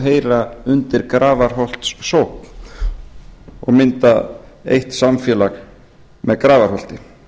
heyra undir grafarholtssókn og mynda eitt samfélag með grafarholti